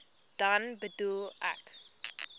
dan bedoel ek